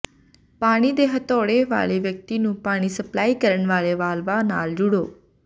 ਪਾਣੀ ਦੇ ਹਥੌੜੇ ਵਾਲੇ ਵਿਅਕਤੀ ਨੂੰ ਪਾਣੀ ਸਪਲਾਈ ਕਰਨ ਵਾਲੇ ਵਾਲਵ ਨਾਲ ਜੁੜੋ